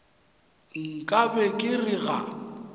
nka be ke re ga